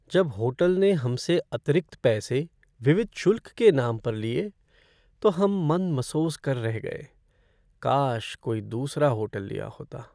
जब होटल ने हमसे अतिरिक्त पैसे विविध शुल्क के नाम पर लिए, तो हम मन मसोस कर रह गए। काश कोई दूसरा होटल लिया होता।